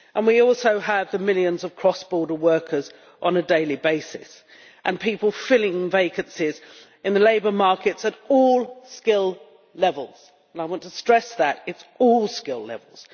We also have the millions of cross border workers on a daily basis and people filling vacancies in the labour markets at all skill levels. I want to stress that it is at all skill levels.